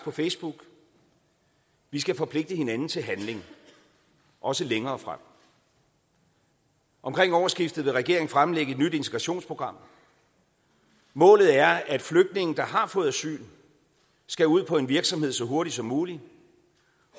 på facebook vi skal forpligte hinanden til handling også længere frem omkring årsskiftet vil regeringen fremlægge et nyt integrationsprogram målet er at flygtninge der har fået asyl skal ud på en virksomhed så hurtigt som muligt